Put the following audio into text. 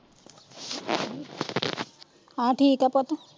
ਹਾਂ ਠੀਕ ਆ ਪੁੱਤ।